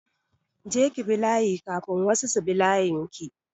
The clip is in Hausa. Je ki bi layi kafin wasu su shiga layin ki!